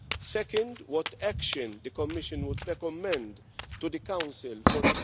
secondly, you asked what action the Commission would recommend to the Council for